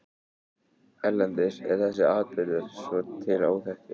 Erlendis er þessi atburður svo til óþekktur.